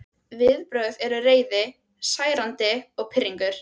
Viðbrögðin eru reiði, særindi og pirringur.